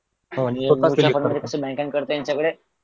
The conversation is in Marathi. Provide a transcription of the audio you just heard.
नवीन काय करताय सगळे